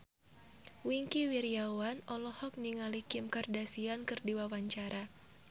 Wingky Wiryawan olohok ningali Kim Kardashian keur diwawancara